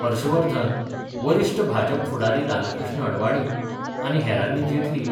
हर्षवर्धन, वरिष्ठ भाजप फुडारी लालकृष्ण अडवाणी आनी हेरांनी जेटली